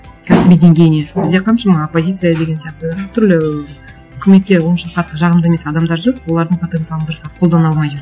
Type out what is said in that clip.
кәсіби деңгейіне сол кезде қаншама оппозиция деген сияқты түрлі үкіметке онша қатты жағымды емес адамдар жүр олардың потенциалын дұрыстап қолдана алмай жүр